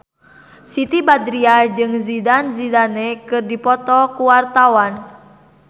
Siti Badriah jeung Zidane Zidane keur dipoto ku wartawan